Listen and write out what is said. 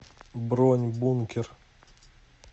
бронь бункер